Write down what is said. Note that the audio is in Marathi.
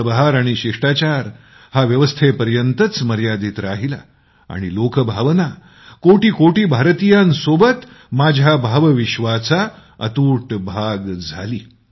पदभार आणि शिष्टाचार हा शासकीय व्यवस्थेपर्यंतच मर्यादित राहिला आणि लोकभावना कोटी कोटी भारतीयांसोबत माझ्या भावविश्वाचं अतूट भाग बनून गेला